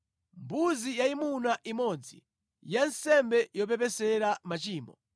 mbuzi yayimuna imodzi ya nsembe yopepesera machimo;